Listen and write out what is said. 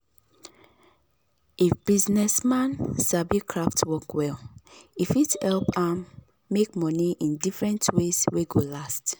if business man sabi craft work well e fit help am make money in different ways wey go last